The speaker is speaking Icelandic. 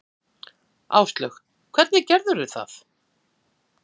Áslaug: Hvernig gerðirðu það?